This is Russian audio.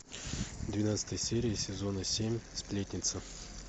двенадцатая серия сезона семь сплетница